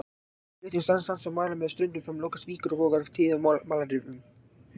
Við flutning sands og malar með ströndum fram lokast víkur og vogar tíðum af malarrifum.